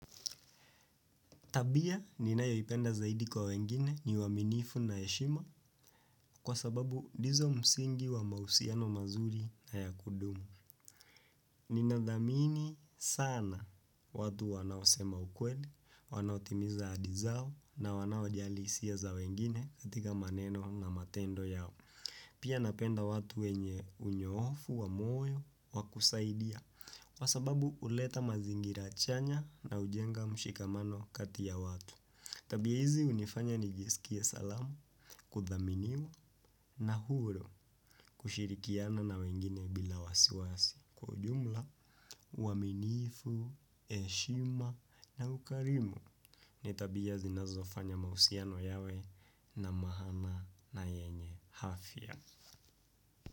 Tabia ninayoipenda zaidi kwa wengine ni uaminifu na heshima kwa sababu ndizo msingi wa mahusiano mazuri na ya kudumu. Ninadhamini sana watu wanaosema ukweli, wanaotimiza ahadi zao na wanaojali hisia za wengine katika maneno na matendo yao. Pia napenda watu wenye unyoofu wa moyo wa kusaidia kwa sababu uleta mazingira chanya na hujenga mshikamano kati ya watu. Tabia hizi unifanya nijiskie salama kudhaminiwa na huru kushirikiana na wengine bila wasiwasi kwa ujumla uaminifu, heshima na ukarimu. Ni tabia zinazofanya mahusiano yawe na maana na yenye afya.